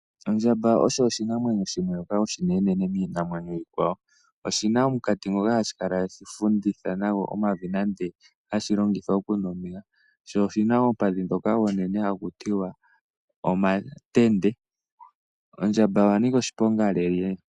Ondjamba oyo oshinamwenyo oshinenenene miinamwenyo iikwawo. Oshi na omunkati ngoka hashi kala tashi funditha nasho omavi nenge hashi longitha okunwa omeya. Oshi na omatende omanene. Ondjamba oya nika oshiponga noonkondo.